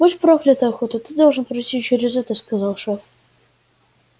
будь проклята охота ты должен пройти через это сказал шеф